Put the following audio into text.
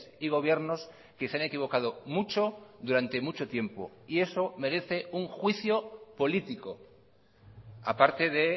y gobiernos que se han equivocado mucho durante mucho tiempo y eso merece un juicio político aparte de